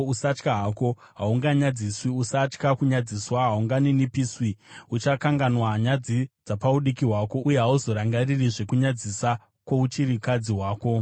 “Usatya hako: haunganyadziswi. Usatya kunyadziswa; haunganinipiswi. Uchakanganwa nyadzi dzapaudiki hwako, uye hauzorangaririzve kunyadzisa kwouchirikadzi hwako.